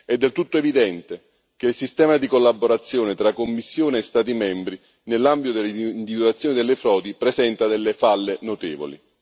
È del tutto evidente che il sistema di collaborazione tra Commissione e Stati membri nell'ambito dell'individuazione delle frodi presenta delle falle notevoli.